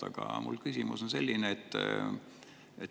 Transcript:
Aga mu küsimus on selline.